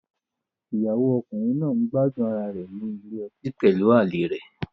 Ìyàwó ọkùnrin náà ń gbádùn ara rẹ̀ ní ilé ọtí pẹ̀lú àlè rẹ̀.